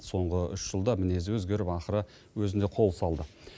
соңғы үш жылда мінезі өзгеріп ақыры өзіне қол салды